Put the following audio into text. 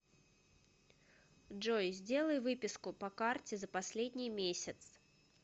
джой сделай выписку по карте за последний месяц